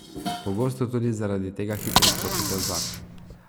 Pogosto tudi zaradi tega hitro skočite v zakon.